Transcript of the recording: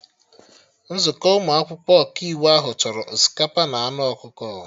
Nzukọ ụmụ akwụkwọ Ọkaiwu ahụ chọrọ osikapa na anụ ọkụkọ